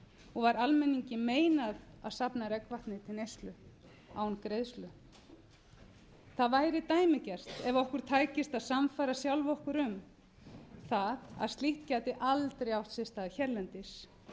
og var almenningi meinað að safna regnvatni til neyslu án greiðslu það væri dæmigert ef okkur tækist að sannfæra sjálf okkur um það að slíkt gæti aldrei átt sér stað hérlendis